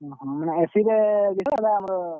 ଓହୋ AC ରେ, ।